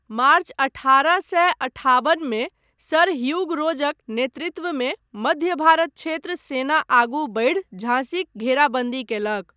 मार्च अठारह सए अठाबन मे सर ह्यूग रोजक नेतृत्वमे मध्य भारत क्षेत्र सेना आगू बढ़ि झांसीक घेराबन्दी कयलक।